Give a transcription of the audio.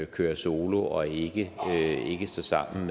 kører solo og ikke står sammen